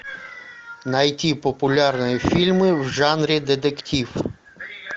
найти популярные фильмы в жанре детектив